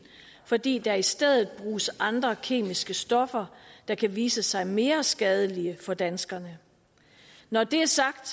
fordi der i stedet bruges andre kemiske stoffer der kan vise sig mere skadelige for danskerne når det er sagt